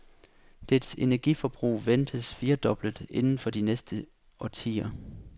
Dets energiforbrug ventes firedoblet inden for de næste årtier.